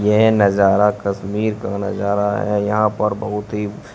ये नजारा कस्मिर का नजारा है यहां पर बहोत ही--